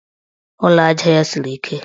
Ụlọaja ya siri ike.